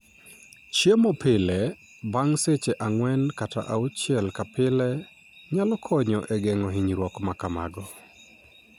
Chiemo pile (bang' seche ang'wen kata auchiel ka pile) nyalo konyo e geng'o hinyruok ma kamago.